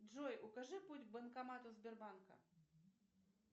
джой укажи путь к банкомату сбербанка